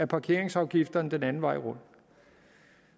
parkeringsafgifterne den anden vej rundt